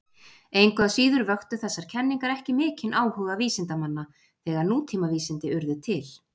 Engu að síður vöktu þessar kenningar ekki mikinn áhuga vísindamanna þegar nútímavísindi urðu til.